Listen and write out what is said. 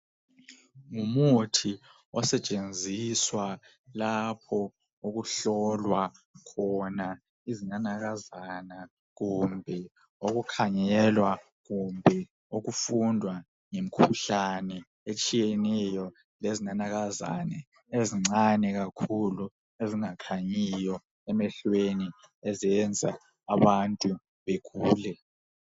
Ngumuthi osetshenziswa lapho okuhlolwa khona izinanakazana kumbe okukhangelwa, kumbe okufundwa ngemkhuhlane etshiyeneyo lezinanakazane ezincane kakhulu ezingakhanyiyo emehlweni ezenza abantu begule.